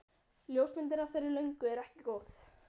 Ljósmyndin af þeirri löngu er ekki góð.